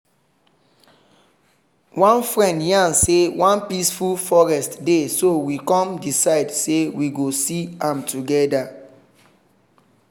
one friend yarn say one peaceful forest dey so we come decide say we go see am together.